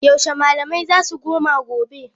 Yaushe malamai zasu koma gobe?